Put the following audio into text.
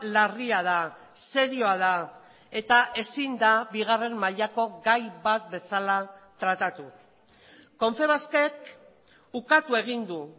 larria da serioa da eta ezin da bigarren mailako gai bat bezala tratatu confebaskek ukatu egin du